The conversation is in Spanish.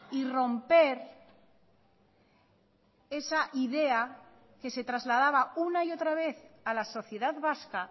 y romper esa idea que se trasladaba una y otra vez a la sociedad vasca